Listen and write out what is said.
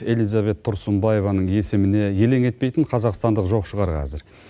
элизабет тұрсынбаеваның есіміне елең етпейтін қазақстандық жоқ шығар қазір